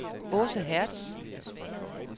Aase Hertz